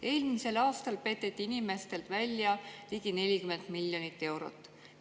Eelmisel aastal peteti inimestelt välja ligi 40 miljonit eurot.